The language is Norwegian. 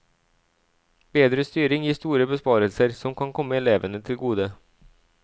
Bedre styring gir store besparelser, som kan komme elevene til gode.